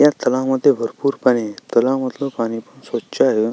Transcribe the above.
ह्या तलाव मध्ये भरपुर पाणी आहे तलावामधल पाणी खुप स्वच्छ आहे.